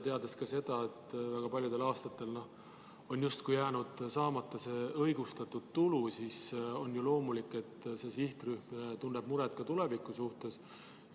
Teades, et väga paljudel aastatel on justkui jäänud saamata see õigustatud tulu, on ju loomulik, et see sihtrühm tunneb muret ka tuleviku pärast.